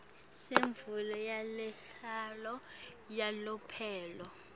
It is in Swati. semvumo yekuhlala yalomphelo